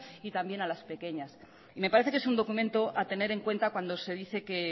y también a las pequeñas y me parece que es un documento a tener en cuenta cuando se dice que